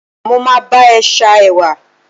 mo ma ba e sa ewa